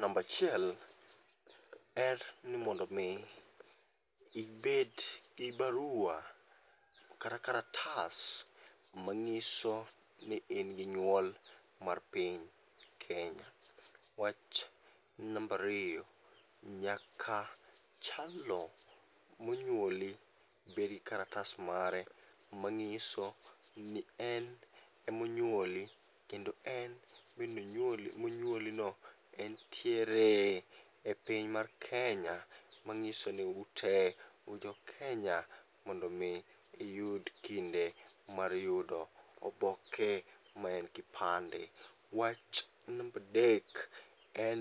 Nambachiel en ni mondo mi ibed gi barua kata karatas mang'iso ni in gi nyuol mar piny Kenya. Wach nambariyo: nyaka jalno monyuoli bedgi karatas mare mang'iso ni en emonyuoli kendo en bendonyuoli monyuoli no entiere e piny mar Kenya. Mang'iso ni ute ujo Kenya mondo mi iyud kinde mar yudo oboke maen kipande. Wach nambadek en